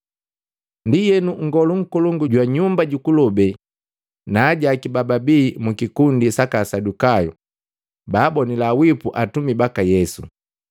Ndienu, nngolu nkolongu jwa Nyumba jukulobee na ajaaki bababi mu kikundi saka Asadukayu, baabonila wipu atumi baka Yesu.